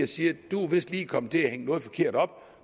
sige du er vist kommet til at hænge noget forkert op